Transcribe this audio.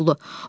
Şaqqulu.